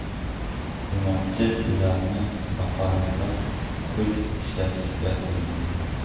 Iste’molchi ularni haqoratlab, kuch ishlatishga urindi.